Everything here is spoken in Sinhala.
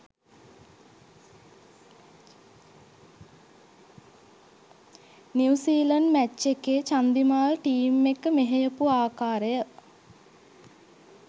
නිව් සීලන්ඩ් මැච් එකේ චන්දිමාල් ටීම් එක මෙහෙයපු ආකාරය.